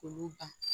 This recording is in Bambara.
K'olu ban